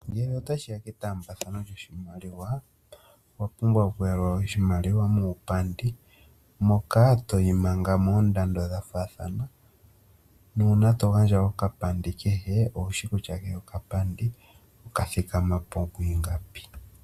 Ngele otashi ya ketaambathano lyoshimaliwa , owapumbwa okuyalula oshimaliwa muupandi moka toyi manga moondando dhafaathana . Uuna togandja okapandi kehe owushi kutya kehe okapandi okathikama po mwiingapi.